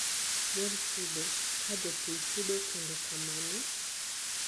yor chudo: kaa jopur chudo kendo kamane?